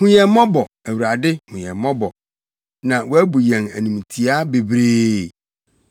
Hu yɛn mmɔbɔ, Awurade, hu yɛn mmɔbɔ, na wɔabu yɛn animtiaa bebree.